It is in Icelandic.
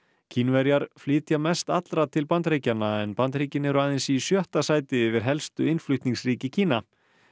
Kínverjar flytja mest allra til Bandaríkjanna en Bandaríkin eru aðeins í sjötta sæti yfir helstu innflutningsríki Kína